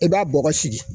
I b'a bɔgɔ sigi